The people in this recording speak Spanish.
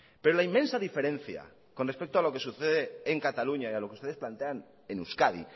pero la inmensa diferencia con respecto a lo que sucede en cataluña y a lo que ustedes plantean en euskadi